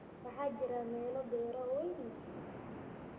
waxaa jira meelo beero waaweyn leh.